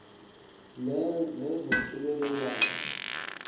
lezonxibelelwano